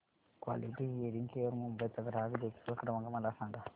quality hearing care Mumbai चा ग्राहक देखभाल क्रमांक मला सांगा